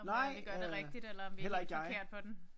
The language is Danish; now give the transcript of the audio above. Nej øh heller ikke jeg